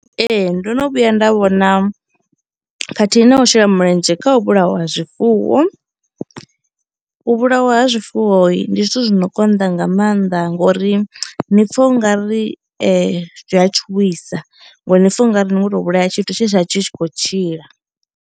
Ee ndo no vhuya nda vhona khathihi na u shela mulenzhe kha u vhulawa ha zwifuwo. U vhulawa ha zwifuwoi ndi zwithu zwi no konḓa nga mannḓa ngori ni pfha u nga ri zwi a tshuwisa ngori ni pfha ungari ni kho to vhulaya tshithu tshe tsha tshi tshi khou tshila.